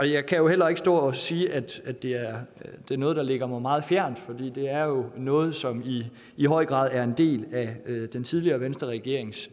jeg kan jo heller ikke stå og sige at det er noget der ligger mig meget fjernt for det er noget som i høj grad er en del af den tidligere venstreregerings